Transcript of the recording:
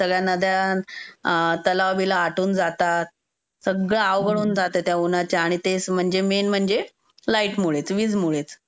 सगळ्या नद्या, तलाव-बिलाव आटून जातात. सगळं अवघड होऊन जाते त्या ऊन्हाच्या आणि तेच म्हणजे -- मेन म्हणजे लाईट मुळेच, वीज मुळेच.